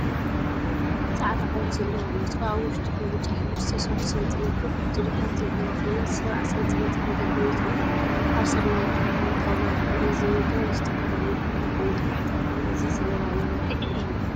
ፃዕዳ ሕብሪ ዘለዋ ሜትሮ አብ ውሽጡ ብብጫ ሕብሪ ዝተሰርሑ ሴንቲ ሜትር ቁፅሪታት ዘለዋ ኮይና 70 ሴ.ሜ ንደገ ወፂኡ አብ ስርናየታይ ሕብሪ ጣውላ ይርከብ፡፡ እዚ ሜትሮ ንዝተፈላዩ ቁመት ንምልካዕ ይጠቅመና፡፡ እዚ ዘመናዊ መለክዒ እዩ፡፡